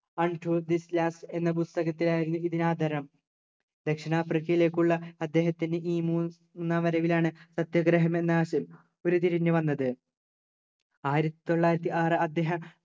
untold lies എന്ന പുസ്തകത്തിനാണ് ഇതിനാദരം ദക്ഷിണാഫ്രിക്കയിലേക്കുള്ള അദ്ദേഹത്തിന് ഈ മൂന്നാം വരവിലാണ് സത്യഗ്രഹമെന്ന ആശയം ഉരുത്തിരിഞ്ഞു വന്നത് ആയിരത്തി തൊള്ളായിരത്തി ആറു അദ്ദേഹം